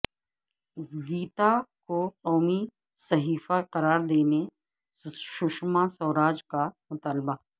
گیتا کو قومی صحیفہ قرار دینے سشما سوراج کا مطالبہ